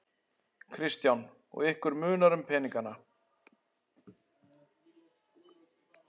Kristján: Og ykkur munar um peningana?